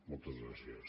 moltes gràcies